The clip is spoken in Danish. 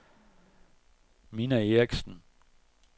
Minna Erichsen